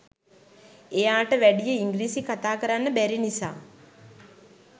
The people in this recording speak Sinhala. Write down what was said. එයාට වැඩිය ඉංග්‍රීසි කතා කරන්න බැරි නිසා